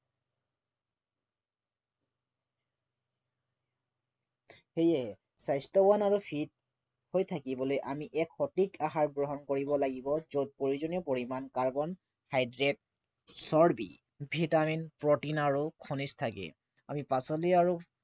সেয়ে স্বাস্থ্য়বান আৰু fit হৈ থাকিবলৈ আমি এক সঠিক আহাৰ গ্ৰহণ কৰিব লাগিব যত প্ৰয়োজনীয় পৰিমাণ carbohydrate চৰ্বি vitamin protein আৰু খনিজ থাকে আমি পাচলি আৰু